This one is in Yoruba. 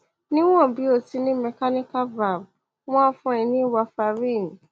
níwọn bí o ti ní mechanical valve wọn á fún ẹ ní warfarin